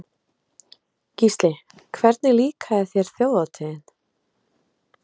Gísli: Hvernig líkaði þér Þjóðhátíðin?